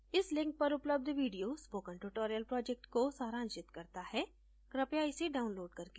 इस link पर उपलब्ध video spoken tutorial project को सारांशित करता है कृपया इसे download करके देखें